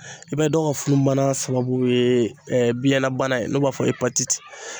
I bɛ dɔw ka funu bana sababu ye biyɛnbana in n'o b'a fɔ